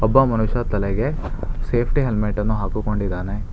ಒಬ್ಬ ಮನುಷ್ಯ ತಲೆಗೆ ಸೇಫ್ಟಿ ಹೆಲ್ಮೆಟ್ ಅನ್ನು ಹಾಕಿಕೊಂಡಿದ್ದಾನೆ.